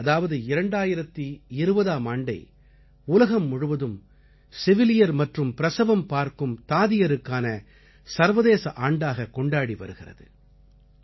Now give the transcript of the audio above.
இந்த ஆண்டு அதாவது 2020ஆம் ஆண்டை உலகம் முழுவதும் செவிலியர் மற்றும் பிரசவம் பார்க்கும் தாதியருக்கான சர்வதேச ஆண்டாகக் கொண்டாடி வருகிறது